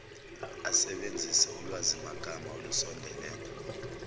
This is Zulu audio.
asebenzise ulwazimagama olusondelene